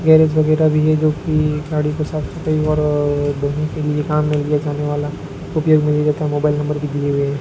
garage वगैरा भी है जोकि गाड़ी के साफ सफाई और धोने के लिए काम में लिया जाने वाला उपयोग में लिया जाता मोबाइल नंबर भी दिए हुए --